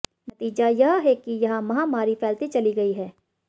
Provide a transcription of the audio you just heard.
नतीजा यह है कि यहां महामारी फैलती चली गई है